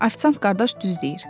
Afisant qardaş düz deyir.